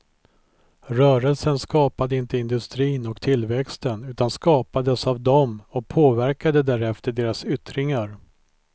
Rörelsen skapade inte industrin och tillväxten, utan skapades av dem och påverkade därefter deras yttringar.